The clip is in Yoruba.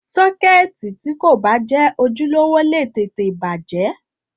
Sọ́kẹ́ẹ̀tì tí kò bá jẹ́ ojúlówó lè tètè bàjẹ́.